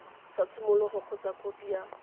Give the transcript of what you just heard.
sa tshimologo kgotsa khopi ya